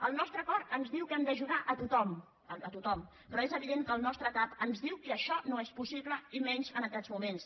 el nostre cor ens diu que hem d’ajudar a tothom a tothom però és evident que el nostre cap ens diu que això no és possible i menys en aquests moments